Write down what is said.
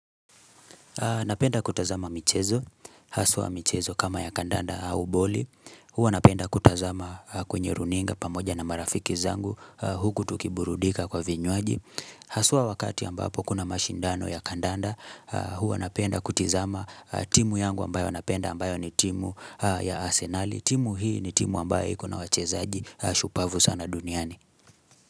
Napenda kutazama michezo, haswa michezo kama ya kandanda au boli, huwa napenda kutazama kwenye runinga pamoja na marafiki zangu huku tukiburudika kwa vinywaji. Haswa wakati ambapo kuna mashindano ya kandanda, huwa napenda kutizama timu yangu ambayo napenda ambayo ni timu ya arsenal, timu hii ni timu ambayo ikona wachezaji, shupavu sana duniani.